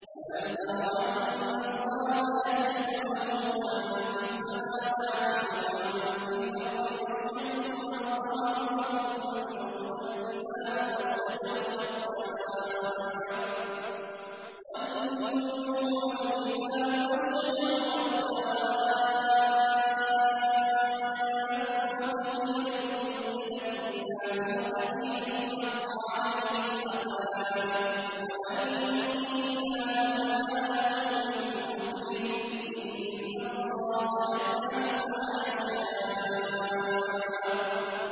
أَلَمْ تَرَ أَنَّ اللَّهَ يَسْجُدُ لَهُ مَن فِي السَّمَاوَاتِ وَمَن فِي الْأَرْضِ وَالشَّمْسُ وَالْقَمَرُ وَالنُّجُومُ وَالْجِبَالُ وَالشَّجَرُ وَالدَّوَابُّ وَكَثِيرٌ مِّنَ النَّاسِ ۖ وَكَثِيرٌ حَقَّ عَلَيْهِ الْعَذَابُ ۗ وَمَن يُهِنِ اللَّهُ فَمَا لَهُ مِن مُّكْرِمٍ ۚ إِنَّ اللَّهَ يَفْعَلُ مَا يَشَاءُ ۩